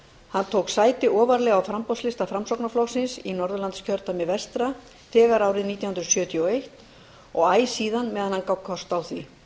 hann tók sæti ofarlega á framboðslista framsóknarflokksins í norðurlandskjördæmi vestra þegar árið nítján hundruð sjötíu og eins og æ síðan meðan hann gaf kost á því